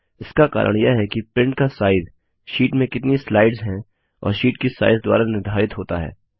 इसका कारण यह है कि प्रिंट का साइज़ शीट में कितनी स्लाइड्स हैं और शीट की साइज़ द्वारा निर्धारित होता है